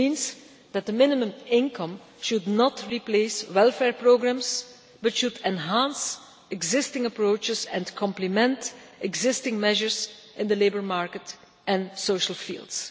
This means that the minimum income should not replace welfare programs, but should enhance existing approaches and complement existing measures in the labour market and social fields.